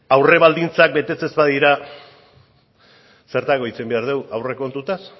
aurre baldintzak betetzen ez badira zertarako hitz egin behar dugu aurrekontuetaz